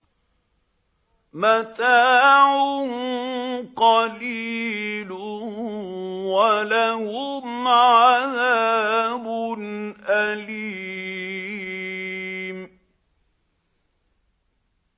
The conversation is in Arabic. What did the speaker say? مَتَاعٌ قَلِيلٌ وَلَهُمْ عَذَابٌ أَلِيمٌ